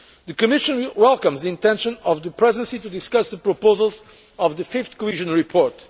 months. The Commission welcomes the intention of the Presidency to discuss the proposals set out in the fifth cohesion